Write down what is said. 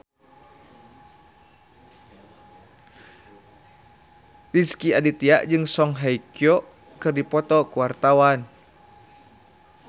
Rezky Aditya jeung Song Hye Kyo keur dipoto ku wartawan